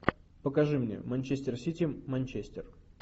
покажи мне манчестер сити манчестер